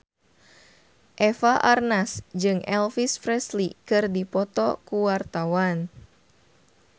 Eva Arnaz jeung Elvis Presley keur dipoto ku wartawan